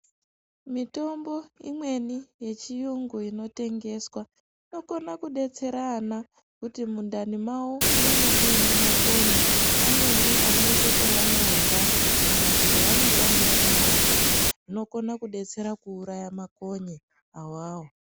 Mitombo imweni yechiyungu inotengeswa inokone kudetsera ana kuti mundani mavo munenge muine makonye, amweni anoite pevanorya kana kuti pevanotambira mumavhu. Inokone kudetsera kuuraya makonye awawo.